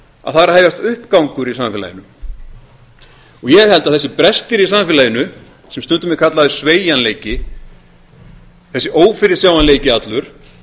að það er að hefjast uppgangur í samfélaginu og ég held að þessir brestir í samfélaginu sem stundum er kallaður sveigjanleiki þessi ófyrirsjáanleiki allur